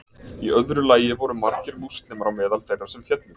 í öðru lagi voru margir múslimar á meðal þeirra sem féllu